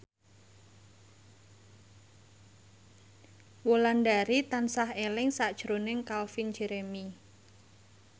Wulandari tansah eling sakjroning Calvin Jeremy